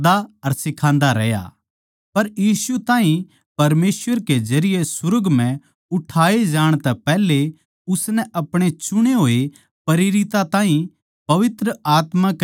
उस दिन तक जिब ताहीं यीशु परमेसवर के जरिये सुर्ग म्ह न्ही ठा लिया गया यो उन प्रेरितां नै जिन ताहीं उसनै छाट्या था पवित्र आत्मा कै सामर्थ तै उप्पर ठाया न्ही गया